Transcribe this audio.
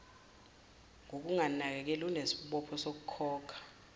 ngokunganakeleli unesibopho sokukhokha